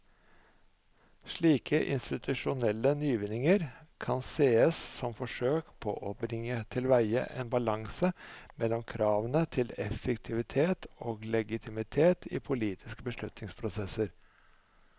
Slike institusjonelle nyvinninger kan sees som forsøk på å bringe tilveie en balanse mellom kravene til effektivitet og legitimitet i politiske beslutningsprosesser.